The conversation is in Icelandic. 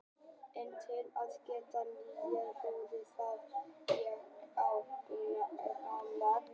En til að geta ort nýja ljóðið þarf ég að rýna í það gamla.